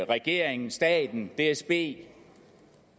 regeringen staten dsb